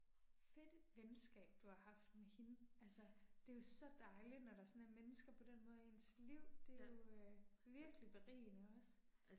Fedt venskab du har haft med hende altså det er jo så dejligt når der sådan er mennesker på den måde i ens liv, det er jo øh virkelig berigende også